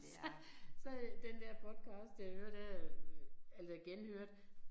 Så så øh den der podcast jeg hører der øh altså genhørte